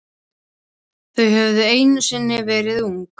Þau höfðu einu sinni verið ung.